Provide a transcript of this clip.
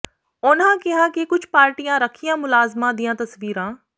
ਉਨ੍ਹਾਂ ਕਿਹਾ ਕਿ ਕੁਝ ਪਾਰਟੀਆਂ ਰੱਖਿਆ ਮੁਲਾਜ਼ਮਾਂ ਦੀਆਂ ਤਸਵੀਰਾਂ